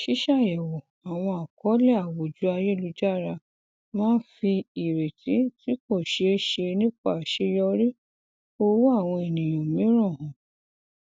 ṣíṣàyẹwò àwọn àkọọlẹ àwùjọ ayelujara máa ń fi ìreti tí kò ṣeé ṣe nípa àṣeyọrí owó àwọn ènìyàn mìíràn hàn